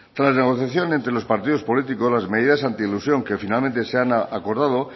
tras la negociación entre los partidos políticos las medidas anti elusión que finalmente se han acordado